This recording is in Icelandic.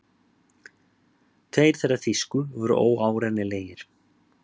Tveir þeirra þýsku voru óárennilegir.